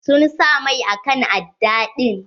Sun sa mai akan aɗɗa din.